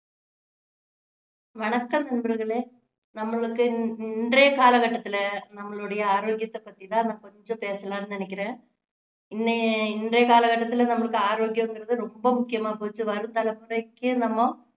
வணக்கம் நண்பர்களே நம்மளுக்கு இன்~இன்றைய கால கட்டத்துல நம்மளுடைய ஆரோக்கியத்தை பத்தி தான் நான் கொஞ்சம் பேசலாம்னு நினைக்கிறேன் இன்ன~இன்றைய காலக்கட்டத்துல நம்மளுக்கு ஆரோக்கியங்குறது ரொம்ப முக்கியமா போச்சு வரும் தலைமுறைக்கும் நம்ம